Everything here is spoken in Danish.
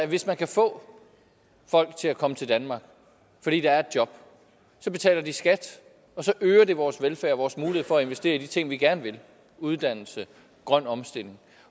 hvis man kan få folk til at komme til danmark fordi der er et job så betaler de skat så øger det vores velfærd og vores mulighed for at investere i de ting vi gerne vil uddannelse grøn omstilling